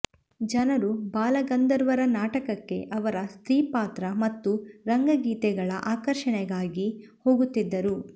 ಜನರು ಬಾಲಗಂಧರ್ವರ ನಾಟಕಕ್ಕೆ ಅವರ ಸ್ತ್ರೀಪಾತ್ರ ಮತ್ತು ರಂಗಗೀತಗಳ ಆಕರ್ಷಣೆಗಾಗಿ ಹೋಗುತ್ತಿದ್ದರು